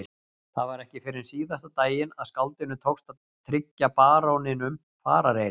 Það var ekki fyrr en síðasta daginn að skáldinu tókst að tryggja baróninum farareyri.